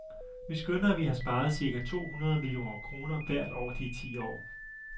Vi skønner, at vi har sparet cirka to hundrede millioner kroner hvert år de ti år.